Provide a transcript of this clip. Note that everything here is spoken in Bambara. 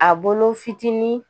A bolo fitinin